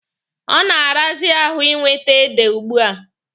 Ọ na-arazi ahụ ị nwete ede ugbua.